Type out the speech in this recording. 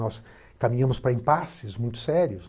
Nós caminhamos para impasses muito sérios.